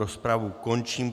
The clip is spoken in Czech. Rozpravu končím.